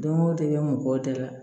Don o don i bɛ mɔgɔw dala